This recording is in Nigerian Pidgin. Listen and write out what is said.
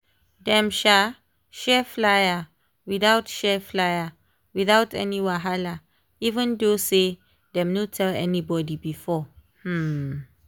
dem um share flyer without share flyer without any wahala even though say dem no tell anybody before. um